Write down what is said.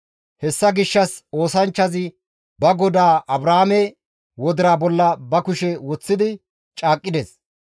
Hessa gishshas oosanchchazi ba godaa Abrahaame wodira bolla ba kushe woththi caaqqides.